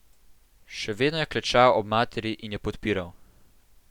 Še vedno je klečal ob materi in jo podpiral.